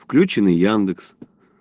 включённый яндекс